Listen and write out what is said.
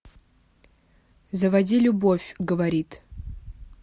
заводи любовь говорит